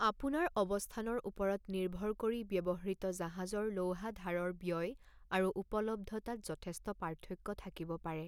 আপোনাৰ অৱস্থানৰ ওপৰত নিৰ্ভৰ কৰি, ব্যৱহৃত জাহাজৰ লৌহাধাৰৰ ব্যয় আৰু উপলব্ধতাত যথেষ্ট পাৰ্থক্য থাকিব পাৰে।